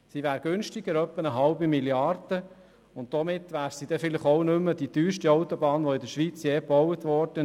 Sie wäre etwa eine halbe Mrd. Franken günstiger, und somit wäre sie auch nicht mehr die teuerste Autobahn, die in der Schweiz gebaut würde.